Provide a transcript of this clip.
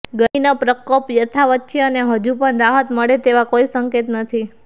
ગરમીનો પ્રકોપ યથાવત છે અને હજુ પણ રાહત મળે તેવા કોઇ સંકેત નથી